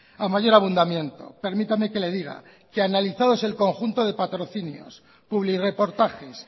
a mayor abundamiento permítame que le diga que analizados el conjunto de patrocinios publirreportajes